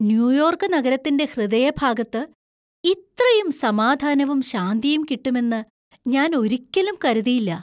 New York നഗരത്തിൻ്റെ ഹൃദയഭാഗത്ത് ഇത്രയും സമാധാനവും ശാന്തിയും കിട്ടുമെന്ന് ഞാൻ ഒരിക്കലും കരുതിയില്ല!